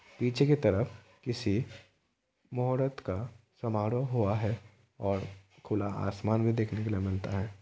पीछे की तरफ किसी मोहरत का समारोह हुआ है। और खुला आसमान भी देखने के लिए मिलता है।